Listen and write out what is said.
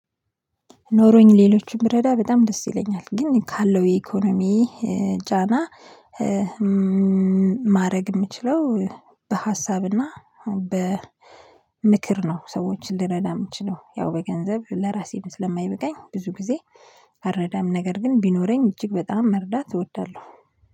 ኖሮኝ ሌሎችን ብረዳ በጣም ደስ ይለኛል ግን ካለው የኢኮኖሚ ጫና ማድረግ የምችለው በሀሳብና በምክር ነው። ሰዎችን ልረዳ የምችለው ያው በገንዘብ ለራሴም ስለማይበቃኝ ብዙ ጊዜ አልረዳም። ነገር ግን ቢኖረኝ እጅግ በጣም መርዳት እወዳለሁ